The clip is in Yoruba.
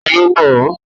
Ta ló mọ̀ ọ́?